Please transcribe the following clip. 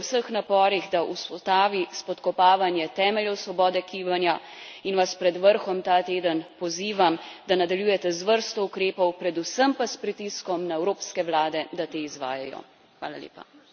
Zato podpiram Evropsko komisijo v vseh naporih, da ustavi spodkopavanje temeljev svobode gibanja in vas pred vrhom ta teden pozivam, da nadaljujete z vrsto ukrepov, predvsem pa s pritiskom na evropske vlade, da te izvajajo.